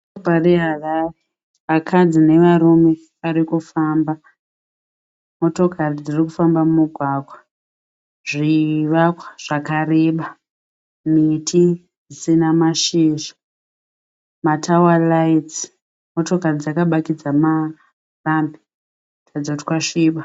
Guta reHarare, vakadzi nevarume vari kufamba. Motokari dziri kufamba mumugwagwa. Zvivakwa zvakareba, miti isina mashizha, matawa raitsi. Motokari dzakabatidza marambi kuratidza kuti kwasviba.